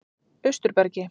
Austurbergi